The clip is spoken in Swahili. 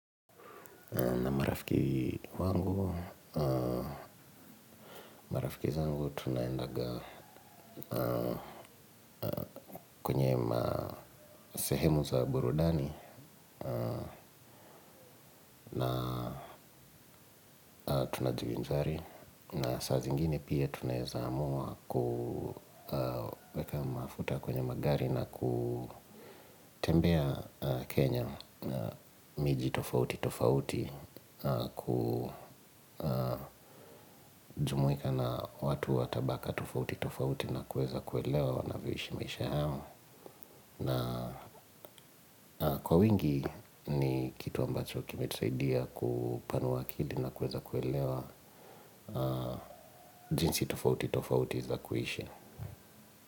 Marafiki wangu, marafiki zangu tunaendaga kwenye masehemu za burudani na tunajivinjari. Na saa zingine pia tuaneza amuwa kuweka mafuta kwenye magari na kutembea Kenya na miji tofauti tofauti. Kujumuika na watu watabaka tofauti tofauti na kuweza kuelewa wanavishimisha hamu. Na kwa wingi ni kitu ambacho kime tusaidia kupanua akili na kuweza kuelewa jinsi tofauti tofauti za kuishi.